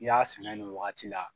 I y'a sɛnɛ nin wagati la